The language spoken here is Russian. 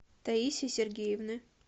таисии сергеевны